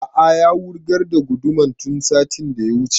A'a ya wurgar da gudumar tun satin da ya wuce